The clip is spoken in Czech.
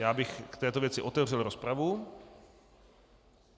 Já bych k této věci otevřel rozpravu.